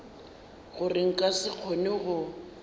gore nka se kgone go